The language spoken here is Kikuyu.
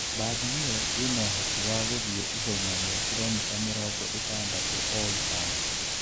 Bathi iyo ina ũhoti wa gũthie ihenya ria kiromita mĩrongo ĩtandatũ o ithaa.